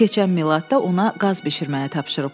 Keçən Miladda ona qaz bişirməyi tapşırıblar.